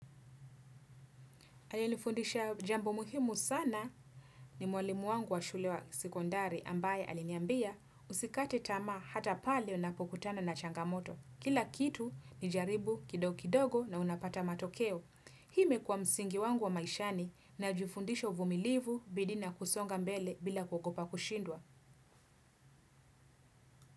Aliye nifundisha jambo muhimu sana ni mwalimu wangu wa shule ya sekondari, ambaye aliniambiya usikate tamaha hata pale unapo kutana na changamoto. Kila kitu ni jaribu kidogo kidogo na unapata matokeo. Hii imekuwa msingi wangu wa maishani na jifundisha humilivu bidii na kusonga mbele bila kuogopa kushindwa.